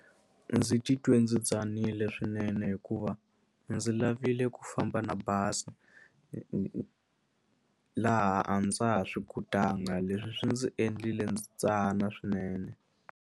Ndzi titwe ndzi tsanile swinene hikuva ndzi lavile ku famba na bazi laha a ndza ha swi kotanga leswi swi ndzi endlile ndzi tsana swinene.